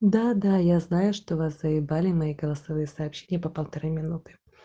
да да я знаю что вас заебали мои голосовые сообщения по полторы минуты